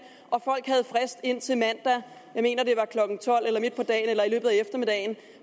og folk havde frist indtil mandag jeg mener det var klokken tolv eller midt på dagen eller i løbet af eftermiddagen